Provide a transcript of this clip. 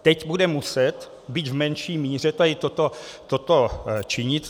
Teď bude muset, byť v menší míře, tady toto činit.